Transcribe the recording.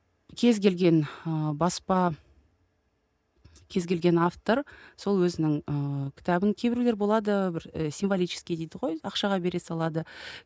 кез келген ыыы баспа кез келген автор сол өзінің ыыы кітабын кейбіреулер болады бір і символический дейді ғой ақшаға бере салады